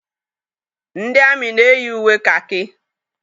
Ndị amị na-eyi uwe kakị.